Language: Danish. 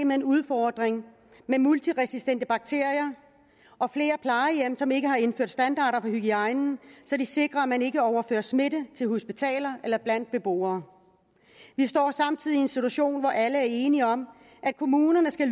med en udfordring med multiresistente bakterier og flere plejehjem som ikke har indført standarder for hygiejnen så de sikrer at man ikke overfører smitte til hospitaler eller blandt beboere vi står samtidig i en situation hvor alle er enige om at kommunerne skal